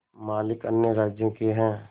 मालिक अन्य राज्यों के हैं